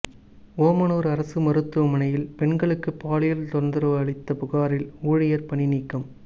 ஓமானுர் அரசு மருத்துவமனையில் பெண்களுக்கு பாலியல் தொந்தரவு அளித்த புகாரில் ஊழியர் பணிநீக்கம்